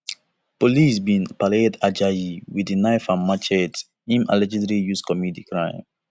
police bin parade ajayi wit di knife and machetes im allegedly use to commit di crime